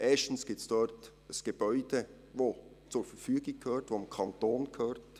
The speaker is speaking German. Erstens gibt es dort ein Gebäude, das zur Verfügung steht, das dem Kanton gehört.